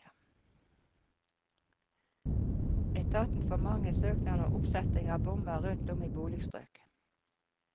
Etaten får mange søknader om oppsetting av bommer rundt om i boligstrøk.